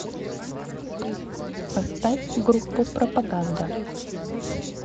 поставь группу пропаганда